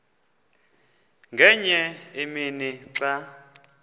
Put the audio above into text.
ngenye imini xa